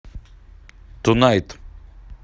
тунайт